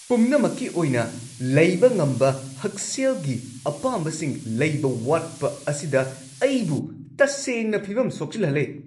ꯄꯨꯝꯅꯃꯛꯀꯤ ꯑꯣꯏꯅ ꯂꯩꯕ ꯉꯝꯕ ꯍꯛꯁꯦꯜꯒꯤ ꯑꯄꯥꯝꯕꯁꯤꯡ ꯂꯩꯕ ꯋꯥꯠꯄ ꯑꯁꯤꯗ ꯑꯩꯕꯨ ꯇꯁꯦꯡꯅ ꯐꯤꯕꯝ ꯁꯣꯛꯆꯤꯜꯍꯜꯂꯦ꯫